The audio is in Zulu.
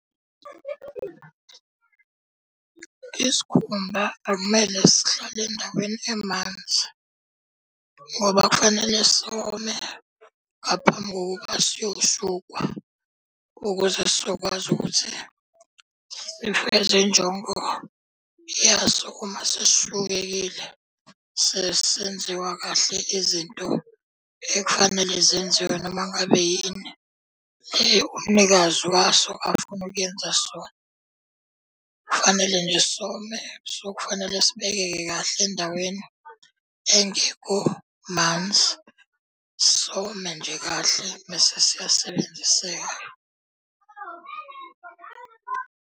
Isikhumba akumele sihlale endaweni emanzi ngoba kufanele some ngaphambi kokuba siyoshukwa. Ukuze sizokwazi ukuthi sifeze injongo yaso uma sesishukekile, sesenziwa kahle izinto ekufanele zenziwe noma ngabe yini le umnikazi waso afuna ukuyenza sona. Kufanele nje some, so kufanele sibekeke kahle endaweni engekho manzi. Some nje kahle mese siyasebenziseka.